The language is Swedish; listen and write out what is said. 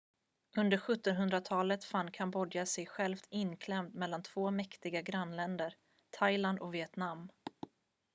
under 1700-talet fann kambodja sig självt inklämt mellan två mäktiga grannländer thailand och vietnam